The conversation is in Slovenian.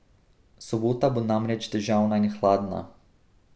Sobota bo namreč deževna in hladna.